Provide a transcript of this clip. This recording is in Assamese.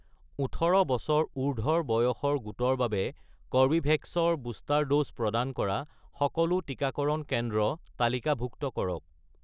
১৮ বছৰ উৰ্ধ্বৰ বয়সৰ গোটৰ বাবে কৰ্বীভেক্স ৰ বুষ্টাৰ ড'জ প্ৰদান কৰা সকলো টিকাকৰণ কেন্দ্ৰ তালিকাভুক্ত কৰক